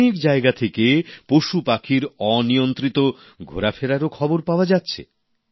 অনেক জায়গা থেকে পশুপাখির অনিয়ন্ত্রিত ঘোরাফেরার খবরও পাওয়া যাচ্ছে